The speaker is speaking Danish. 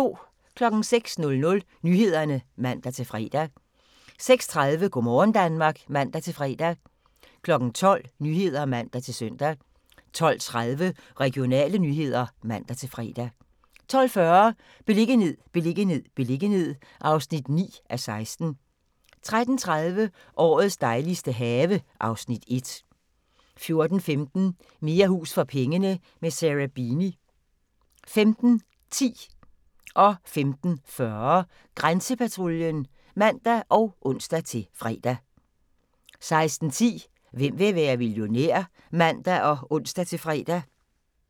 06:00: Nyhederne (man-fre) 06:30: Go' morgen Danmark (man-fre) 12:00: Nyhederne (man-søn) 12:30: Regionale nyheder (man-fre) 12:40: Beliggenhed, beliggenhed, beliggenhed (9:16) 13:30: Årets dejligste have (Afs. 1) 14:15: Mere hus for pengene – med Sarah Beeny 15:10: Grænsepatruljen (man og ons-fre) 15:40: Grænsepatruljen (man og ons-fre) 16:10: Hvem vil være millionær? (man og ons-fre)